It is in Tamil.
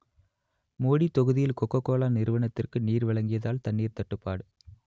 மோடி தொகுதியில் கோக கோலா நிறுவனத்திற்கு நீரை வழங்கியதால் தண்ணீர் தட்டுப்பாடு